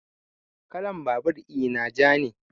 Kalan babur ina ja ne